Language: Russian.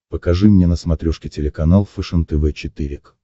покажи мне на смотрешке телеканал фэшен тв четыре к